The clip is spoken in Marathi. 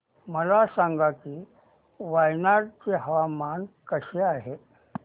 मला सांगा की वायनाड चे हवामान कसे आहे